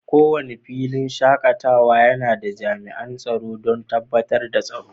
Kowane filinshakatawa yana da jami'an tsaro don tabbatar da tsaro.